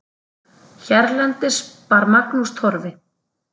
Hérlendis bar Magnús Torfi